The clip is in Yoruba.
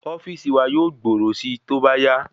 Ofíìsì wa yóò gbòòrò sí tóbá yá